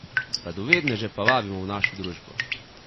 Radovedneže pa vabimo v našo družbo.